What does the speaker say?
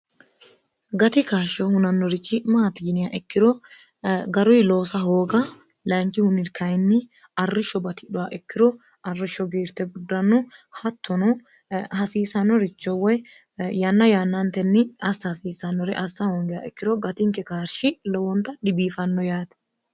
gati kaashsho hunannorichi maati giniya ikkiro garuyi loosa hooga lainkihu nirkayinni arrishsho batidhowa ikkiro arrishsho giirte guddanno hattono hasiisanoricho woy yanna yaannaantenni assa hasiisannore assa hoongeya ikkiro gatinke kaarshi lowoonta dhibiifanno yaati